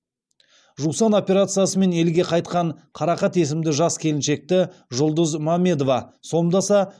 жусан операциясымен елге қайтқан қарақат есімді жас келіншекті жұлдыз мамедова сомдаса